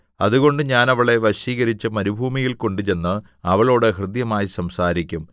അതുകൊണ്ട് ഞാൻ അവളെ വശീകരിച്ച് മരുഭൂമിയിൽ കൊണ്ടുചെന്ന് അവളോട് ഹൃദ്യമായി സംസാരിക്കും